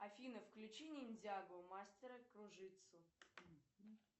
афина включи ниндзяго мастера кружитцу